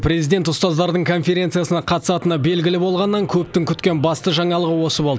президент ұстаздардың конференциясына қатысатыны белгілі болғаннан көптің күткен басты жаңалығы осы болды